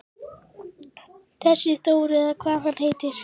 Þessi Þór eða hvað hann heitir.